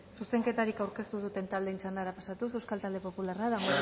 zuzenketarik aurkeztu duten taldeen txandara pasatuz euskal talde popularra damborenea